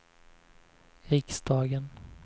riksdagen